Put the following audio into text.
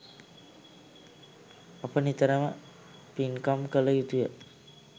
අප නිතරම පින්කම් කළ යුතුය